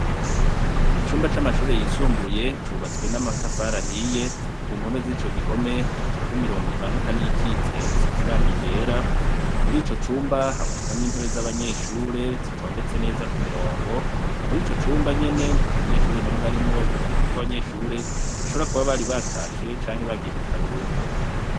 Icumba c'amashure yisumbuye cubatswe n'amatafari ahiye ku mpome z'ico gihome hacafyeko imirongo imanuka ni yikitse isize irangi ryera muri ico cumba habonekamwe intebe z'abanyeshure zitondetse neza, ku mirongo muri ico cumba nyene nta munyeshure n'umwe arimwo biboneka ko abanyeshure bashobora kuba bari batashe canke bagiye mukaruhuko.